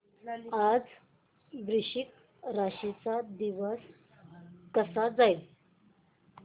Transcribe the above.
आज वृश्चिक राशी चा दिवस कसा जाईल